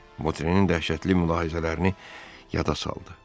Votrenin dəhşətli mülahizələrini yada saldı.